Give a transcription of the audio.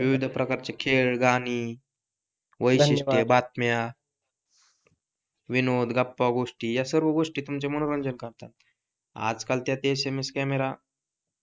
विविध प्रकारचे खेळ, गाणी बातम्या विनोद, गप्पा गोष्टी या सर्व गोष्टी तुमचे मनोरंजन करतात आजकालच्या SMS कॅमेरा